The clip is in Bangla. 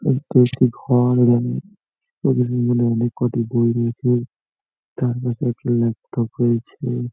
ঘর বানিয়ে ও যদি মনে মনে কটি বই লেখে তার পাশে একটি ল্যাপটপ রয়েছে ।